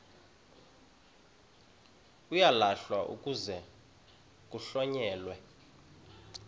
uyalahlwa kuze kuhlonyelwe